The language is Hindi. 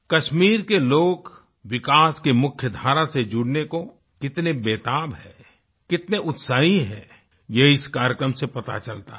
कश्मीर के लोग विकास की मुख्यधारा से जुड़ने को कितने बेताब हैं कितने उत्साही हैं यह इस कार्यक्रम से पता चलता है